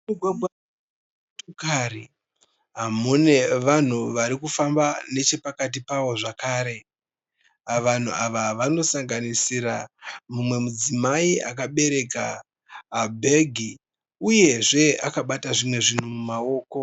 Mumugwagwa wemotokari mune vanhu vari kufamba nechepakati pawo zvakare. Vanhu ava vanosanganisira mumwe mudzimai akabereka bhegi uyezve akabata zvimwe zvinhu mumaoko.